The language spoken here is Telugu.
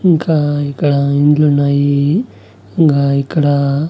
ఇంకా ఇక్కడ ఇండ్లున్నాయి ఇంగా ఇక్కడ--